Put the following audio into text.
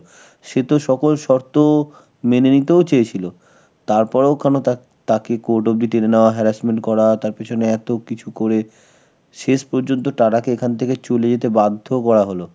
সে তো সকল শর্ত ও মেনে নিতেও চেয়েছিল. তারপরেও কেনো তাক~, তাকে court অবধি টেনে নেওয়া, harassment করা, তার পেছনে এত কিছু করে শেষ পর্যন্ত TATA কে এখান থেকে চলে যেতে বাধ্য করা হলো.